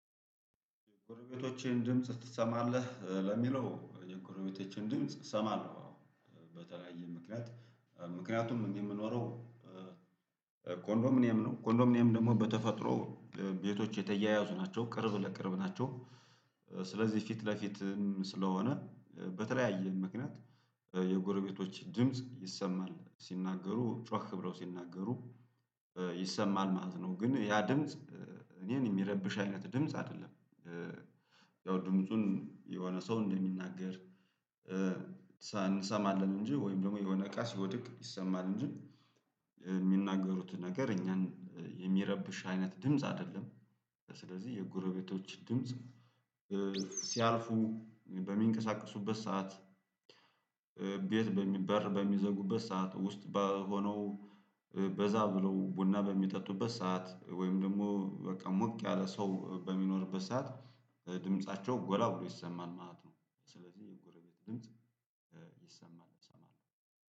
የጎረቤቶችህን ድምጽ ትሰማለህ? ለሚለው የጎረቤቶቼን ድምጽ እሰማለሁ አዎ። በተለያየ ምክንያት ምክንያቱም እኔ እምኖረው ኮንዶሚኒየም ነው። ኮንዶሚኒየም ደግሞ በተፈጥሮ ቤቶች የተያያዙ ናቸው ቅርብ ለቅርብ ናቸው። ስለዚህ ፊት ለፊትም ስለሆነ በተለያየ ምክንያት ኧ የጎረቤቶች ድምጽ ይሰማል ሲናገሩ ጮህ ብለው ሲናገሩ ኧ ይሰማል ማለት ነው። ግን ያ ድምጽ ኧ እኔን እሚረብሽ አይነት ድምጽ አይደለም። ኧ ያው ድምፁን የሆነ ሰው እንደሚናገር። ኧ እንሰማለን እንጂ ወይም ደግሞ የሆነ እቃ ሲወድቅ ይሰማል እንጂ። እሚናገሩት ነገር እኛን የሚረብሽ አይነት ድምጽ አይደለም። ስለዚህ የጎረቤቶች ድምጽ ኧ ሲያልፉ በሚንቀሳቀሱበት ሰዓት። ኧ ቤት በሚ በር በሚዘጉበት ሰዓት ውስጥ በሆነው ኧ በዛ ብለው ቡና በሚጠጡበት ሰዓት ወይም ደግሞ በቃ ሞቅ ያለ ሰው በሚኖርበት ሰዓት ድምፃቸው ጎላ ብሎ ይሰማል ማለት ነው። ስለዚህ የጎረቤት ድምጽ ኧ ይሰማል እሰማለሁ